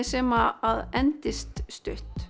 sem endast stutt